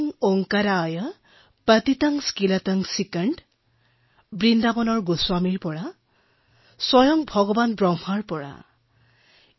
वें ओंकाराय पतितं स्क्लितं सिकंद বৃন্দাবনৰ গোস্বামীৰ পৰা আহিছে স্বয়ং ভগৱান ব্ৰহ্মাৰ পৰা আহিছে